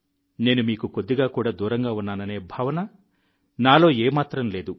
నేను మీకు కొద్దిగా కూడా దూరంగా ఉన్నాననే భావన నాలో ఏమాత్రం లేదు